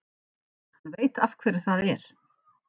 Hann veit af hverju það er.